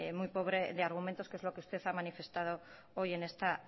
muy pobre de argumentos que es lo que usted ha manifestado hoy en esta